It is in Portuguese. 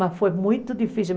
Mas foi muito difícil.